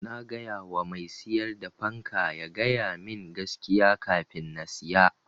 Na gayawa mai siyar da fanka ya ga yamin gaskiya kafin na siya.